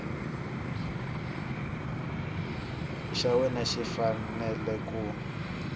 xa wena xi fanele ku